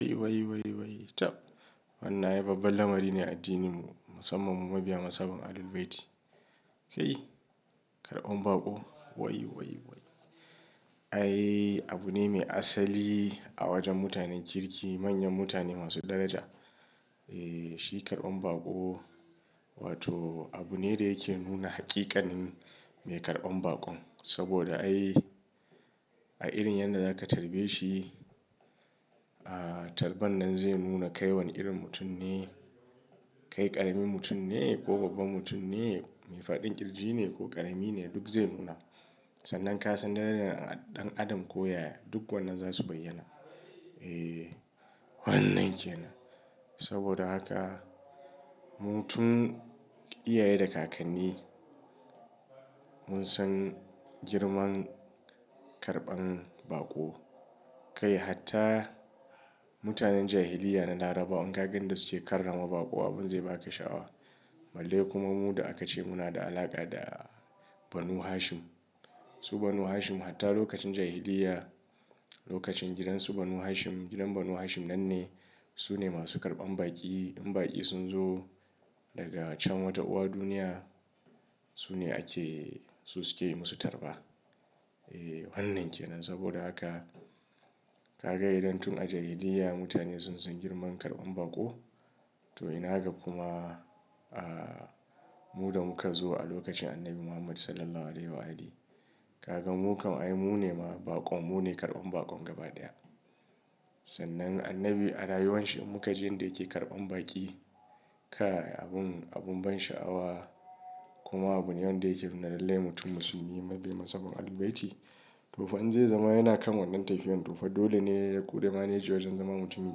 Wai, wai, wai, tab. Wannan ai babban lamari ne a addininmu, musamman mu mabiya mazhabar Ahlul Bayti. Kai, karɓan baƙo, wai, wai, wai. Ai abu ne mai asali a wajen mutanen kirki, manyan mutane masu daraja. Eh, shi karɓan baƙo wato abu ne da yake nuna haƙiƙanin mai karɓan baƙon. Saboda ai a irin yadda za ka tarbe shi, ah tarban nan zai nuna kai wane irin mutum ne. Kai ƙarami mutum ne ko babban mutum ne, mai fa'in kirji ne ko ƙarami ne duk zai nuna. Sannan kasan darajar ɗan adam ko yaya duk wannan za su bayyana. Eh, wannan ke nan. Saboda haka mu tun iyaye da kakanni mun san girman karɓan baƙo. Kai hatta mutanen jahiliyya na larabawa in ka ga da suke karrama baƙo abun zai baka sha'awa. Balle kuma mu da aka ce muna da alaƙa da Banu Hashim. Su Banu Hashim hatta lokacin jahiliyya, lokacin gidansu Banu Hashim, gidan Banu Hashim nan ne. Su ne masu karɓan baƙi. In baƙi sun zo daga can wata uwa duniya, su ne ake, su suke yi musu tarba. Eh wannan ke nan. Saboda haka ka ga idan tun a jahiliyya mutane sun san girman karɓan baƙo, to ina ga kuma ah mu da muka zo a lokacin Annabi Muhammad Sallallahu Alaihi Wasallam. Ka ga mu kam ai mu ne ma baƙon, mu ne karɓan baƙon gaba ɗaya. Sannan Annabi a rayuwan shi mu ka ji yanda yake karɓan baƙi. Kai abun, abun ban sha'awa kuma abu ne wanda yake nuna lallai mutum musulmi mabiyin mazhabar Ahlul Bayti. To fa in zai zama yana kan wannan tafiyan. To fa dole ne ya ƙure maneji wajen zama mutumi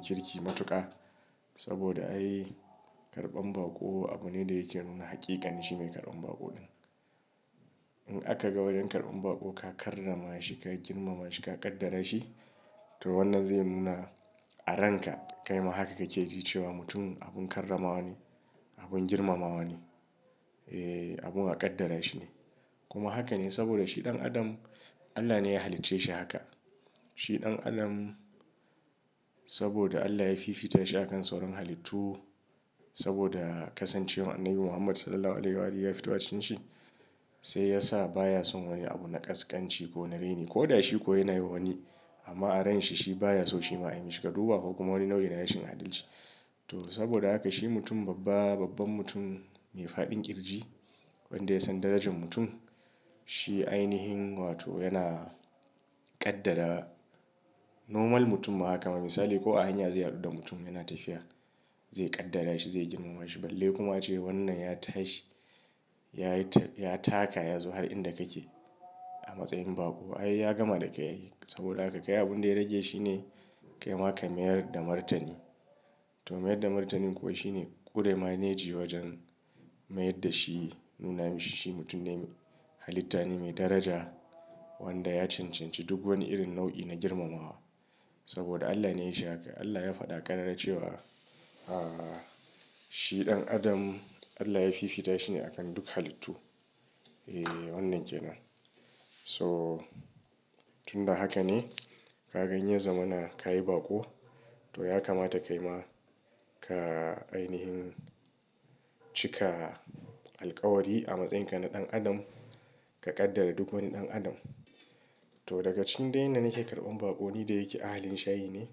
kirki matuƙa. Saboda ai karɓan baƙo abu ne da yake nuna haƙiƙanin shi mai karɓan baƙon ɗin. In aka ga wajan karɓan baƙo ka karrama shi, ka girmama shi, ka ƙaddara shi to wannan zai nuna a ranka kai ma haka kake ji cewa mutum abun karramawa ne, abun girmamawa ne. Eh, abun a ƙaddara shi ne. Kuma haka ne saboda shi ɗan adam Allah ne ya halicce shi haka. Shi ɗan adam saboda Allah yafi fita shi a kan sauran halittu. Saboda kasancewar Annabi Muhammad Sallallahu Alaihi Wa ahalihi ya fito a cikin shi sai yasa baya son wani abu na ƙasƙanci ko na reni. Ko da shi ko yana yi wani amma a ransa shi baya so shi ma a yi mishi. Ka duba fa kuma wani nau'i na rashin adalci. To saboda haka shi mutum babba, babban mutum mai faɗin ƙirji wanda ya san darajar mutum. Shi ainihin wato yana ƙaddara normal mutum ma haka. A misali ko a hanya zai haɗu da mutum yana tafiya, zai ƙaddara shi, zai girmama shi. Balle kuma ce wannan ya tashi, ya yi ta, ya taka ya zo har inda kake a matsayin baƙo. Ai ya gama da kai. Saboda haka kai abun da ya rage shi ne kai ma ka mayar da martani. To mayar da martanin kuwa shi ne ƙure maneji wajen mayar da shi nuna mishi shi mutum ne halitta ne mai daraja wanda ya cancanci duk wani irin nau'i na girmamawa. Saboda Allah ne ya yi shi haka. Allah ya faɗa ƙarara cewa ah shi ɗan adam Allah yafi fita shi ne a kan duk halittu. Eh wannan ke nan. So tun da haka ne ka gan in ya zamana ka yi baƙo to ya kamata kai ma ka ainihin cika alkawari a matsayin ka na ɗan adam, ka ƙaddara duk wani ɗan adam. To daga cikin dai yanda nake karɓan baƙo ni da yake ahalin shayi ne.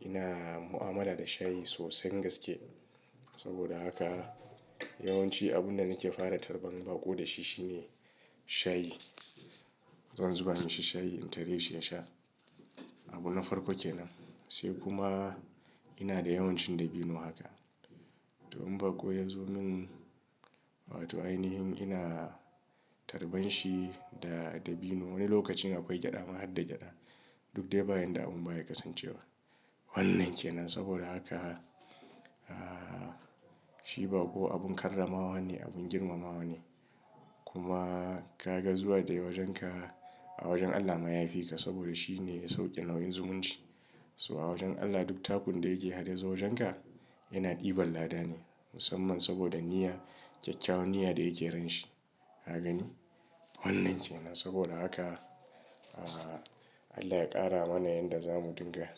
Ina mu'amala da shayi sosai gaske. Saboda haka yawanci abun da nake fara tarban baƙo da shi shi ne shayi. Zan zuba mishi shayi in tareshi ya sha. Abu na farko ke nan. Sai kuma ina da yawan cin dabino haka. To in baƙo ya zo min wato ainihin ina tarban shi da dabino wani lokacin akwai gyada ma harda gyada. Duk dai ba yanda abun baya kasancewa. Wannan ke nan saboda haka ah shi baƙo abun karramawa ne, abun girmamawa ne. Kuma ka ga zuwa da yayi wajenka a wajen Allah ma ya fi ka saboda shi ne ya sauke nauyin zumunci. So a wajen Allah duk takun da yake har ya zo wajenka yana ɗiban lada ne. Musamman saboda niyya, kyakyawan niyya da yake ransa. Ka gani? Wannan ke nan saboda haka Allah ya ƙara mana yadda za mu dinga.